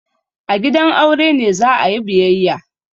A gidan aure ne za a yi biyayya.